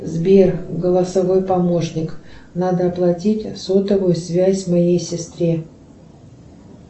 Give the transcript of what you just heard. сбер голосовой помощник надо оплатить сотовую связь моей сестре